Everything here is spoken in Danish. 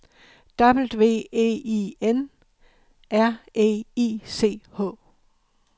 W E I N R E I C H